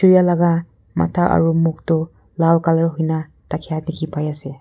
Chirya laga matha aro mukh tuh lal colour hoina thakya dekhi pai ase.